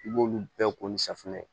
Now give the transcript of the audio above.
I b'olu bɛɛ ko ni safunɛ